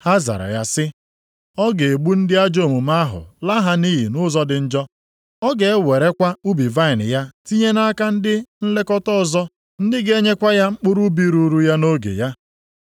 Ha zara ya sị, “Ọ ga-egbu ndị ajọ omume ahụ, laa ha nʼiyi nʼụzọ dị njọ. Ọ ga-ewerekwa ubi vaịnị ya tinye nʼaka ndị nlekọta ọzọ, ndị ga-enyekwa ya mkpụrụ ubi ruuru ya nʼoge ya.”